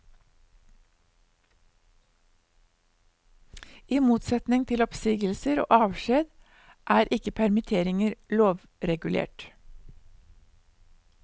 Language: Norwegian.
I motsetning til oppsigelser og avskjed er ikke permitteringer lovregulert.